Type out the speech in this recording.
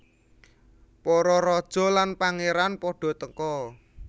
Para raja lan pangeran pada teka